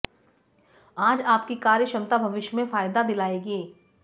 आज आपकी कार्य क्षमता भविष्य में फायदा दिलायेगा